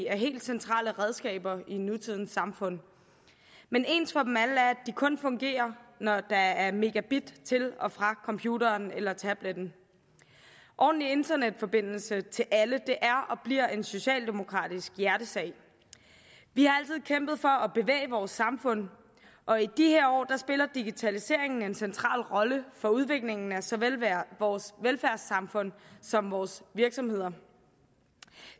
er helt centrale redskaber i nutidens samfund men ens for dem alle er at de kun fungerer når der er megabit til og fra computeren eller tabletten ordentlig internetforbindelse til alle er og bliver en socialdemokratisk hjertesag vi har altid kæmpet for at bevæge vores samfund og i de her år spiller digitaliseringen en central rolle for udviklingen af såvel vores velfærdssamfund som vores virksomheder